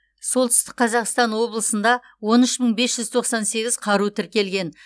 солтүстік қазақстан облысында он үш мың бес жүз тоқсан сегіз қару тіркелген